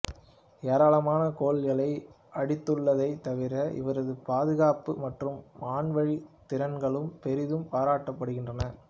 ஏராளமான கோல்களை அடித்துள்ளதைத் தவிர இவரது பாதுகாப்பு மற்றும் வான்வழி திறன்களும் பெரிதும் பாராட்டப்படுகின்றது